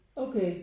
Okay